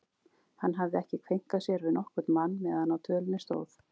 Hann hafði ekki kveinkað sér við nokkurn mann meðan á dvölinni stóð.